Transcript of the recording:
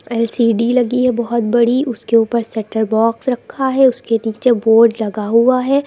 LCD लगी है बहोत बड़ी उसके ऊपर सेटअप बॉक्स रखा है उसके नीचे बोर्ड लगा हुआ है।